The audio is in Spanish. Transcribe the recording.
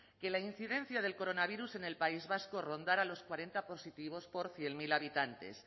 que la incidencia del coronavirus en el país vasco rondara los cuarenta positivos por cien mil habitantes